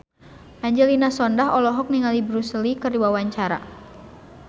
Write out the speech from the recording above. Angelina Sondakh olohok ningali Bruce Lee keur diwawancara